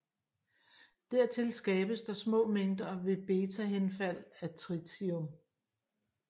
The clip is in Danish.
Dertil skabes der små mængder ved betahenfald af tritium